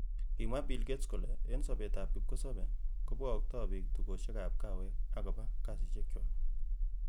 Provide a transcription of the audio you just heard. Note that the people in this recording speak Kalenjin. Kimwa Billgates kole" en sobetab kipkosebei kobogokto bik tukosiekab kawek ak koba kasisiekchwak.